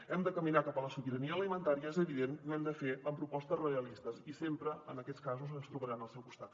hem de caminar cap a la sobirania alimentària és evident i ho hem de fer amb propostes realistes i sempre en aquests casos ens trobaran al seu costat